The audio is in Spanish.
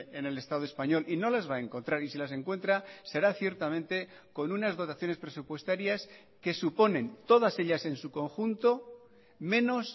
en el estado español y no las va a encontrar y si las encuentra será ciertamente con unas dotaciones presupuestarias que suponen todas ellas en su conjunto menos